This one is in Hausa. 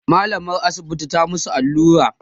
mallamar asibiti ta musu allura